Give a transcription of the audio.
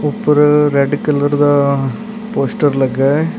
ਉੱਪਰ red colour ਦਾ poster ਲੱਗਾ ਹੈ।